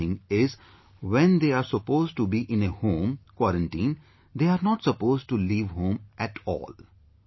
The second thing is, when they are supposed to be in a home quarantine, they are not supposed to leave home at all